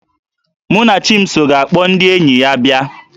Mụnachimso ga-akpọ ndị enyi ya abịa